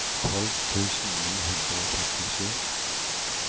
tolv tusen ni hundre og femtisju